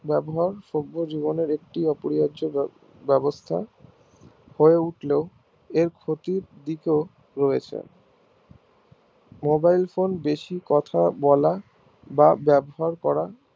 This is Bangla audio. ব্যবহার সভ্য জীবনের একটি অপরিহার্য ব্যবস্থা হয় উঠলে এর ক্ষতির দিক ও রয়েছে mobile phone এ বেশি কথা বলা বা বাবহার করা